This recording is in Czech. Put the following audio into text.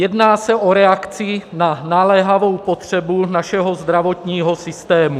Jedná se o reakci na naléhavou potřebu našeho zdravotního systému.